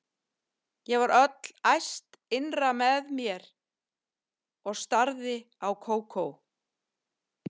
Ég varð öll æst innra með mér og starði á Kókó.